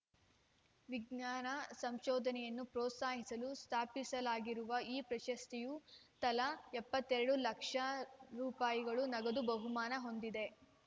ವಿಜ್ಞಾನ ಸಂಶೋಧನೆಯನ್ನು ಪ್ರೋತ್ಸಾಹಿಸಲು ಸ್ಥಾಪಿಸಲಾಗಿರುವ ಈ ಪ್ರಶಸ್ತಿಯು ತಲಾ ಎಪ್ಪತ್ತ್ ಎರಡು ಲಕ್ಷ ರುಪಯಿಗಳು ನಗದು ಬಹುಮಾನ ಹೊಂದಿದೆ